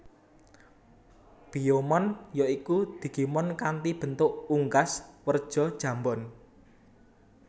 Biyomon ya iku digimon kanthi bentuk unggas werja jambon